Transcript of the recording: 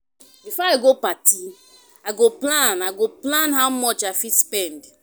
Before I go party, I go plan I go plan how much I fit spend.